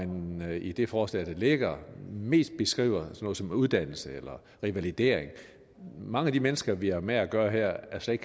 når man i det forslag der ligger mest beskriver noget som uddannelse eller revalidering mange af de mennesker vi har med at gøre her er slet